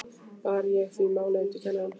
Bar ég því málið undir kennarann.